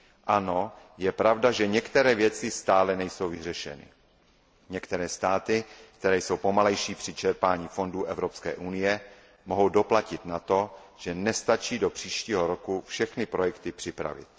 Ano, je pravda, že některé věci stále nejsou vyřešeny. Některé státy, které jsou pomalejší při čerpání fondů Evropské unie, mohou doplatit na to, že nestačí do příštího roku všechny projekty připravit.